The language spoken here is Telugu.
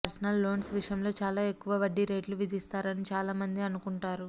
పర్సనల్ లోన్స్ విషయంలో చాలా ఎక్కువ వడ్డీ రేట్లు విధిస్తారని చాలామంది అనుకుంటారు